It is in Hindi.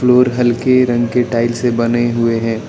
और हल्के रंग के टाइल्स से बने हुए हैं।